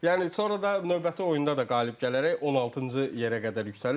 Yəni sonra da növbəti oyunda da qalib gələrək 16-cı yerə qədər yüksəlir.